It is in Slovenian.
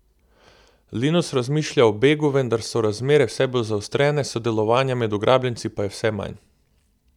Linus razmišlja o begu, vendar so razmere vse bolj zaostrene, sodelovanja med ugrabljenci pa je vse manj.